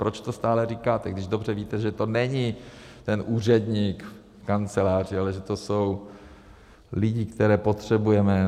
Proč to stále říkáte, když dobře víte, že to není ten úředník v kanceláři, ale že to jsou lidi, které potřebujeme?